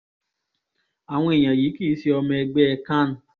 àwọn èèyàn yìí kì í ṣe ọmọ ẹgbẹ́ CAN